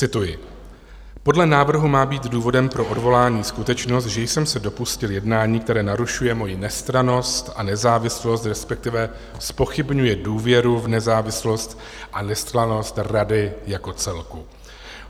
Cituji: "Podle návrhu má být důvodem pro odvolání skutečnost, že jsem se dopustil jednání, které narušuje moji nestrannost a nezávislost, respektive zpochybňuje důvěru v nezávislost a nestrannost rady jako celku.